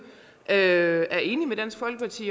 er enige med dansk folkeparti